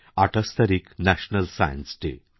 ২৮ তারিখ national science day